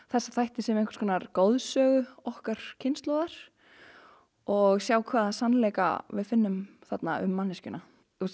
þessa þætti sem einhvers konar okkar kynslóðar og sjá hvaða sannleika við finnum þarna um manneskjuna